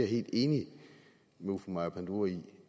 helt enig med fru maja panduro i